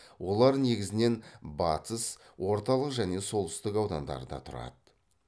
олар негізінен батыс орталық және солтүстік аудандарда тұрады